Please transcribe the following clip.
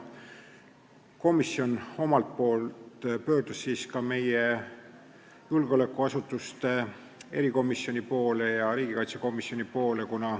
Komisjon omalt poolt pöördus ka julgeolekuasutuste järelevalve erikomisjoni ja riigikaitsekomisjoni poole.